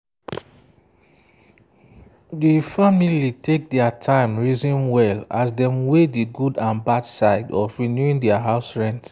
de family take their time reason well as dem weigh the good and bad side of renewing their house rent.